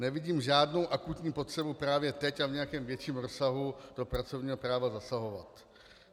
Nevidím žádnou akutní potřebu právě teď a v nějakém větším rozsahu do pracovního práva zasahovat.